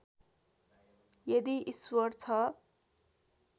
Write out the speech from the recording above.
यदि ईश्वर छ